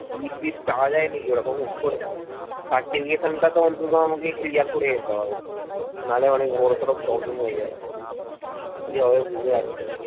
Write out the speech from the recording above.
leave টিভ চাওয়া যায় নাকি ওরকম হুট করে certification টা তো অনন্ত আমাকে clear করে যেতে হবে না হলে অনেক বড়সড় problem হয়ে যাবে কি হবে বুঝতে পারছি না